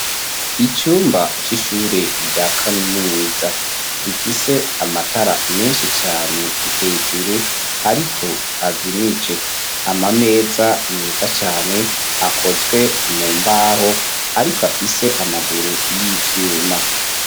Icumba c'ishure rya kaminuza, rifise amatara menshi cane hejuru ariko azimije, amameza meza cane akozwe mu mbaho ariko afise amaguru y'ivyuma.